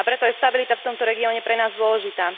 A preto je stabilita v tomto regióne pre nás dôležitá.